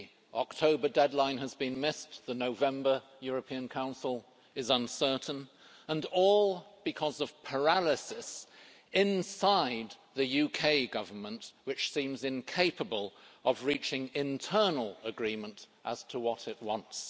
The October deadline has been missed, the November European Council is uncertain, and all because of paralysis inside the UK Government, which seems incapable of reaching internal agreement as to what it wants.